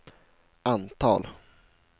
antal